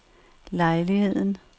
lejligheden